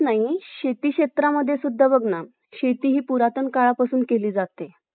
international calls करण्यासाठी लागेल पैश्याचे काही romings साठी charges वेगळी pay नाही करावं लागेल इथे data ते भाव वाढलेलं आहे